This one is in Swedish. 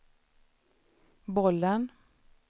bollen